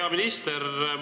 Hea minister!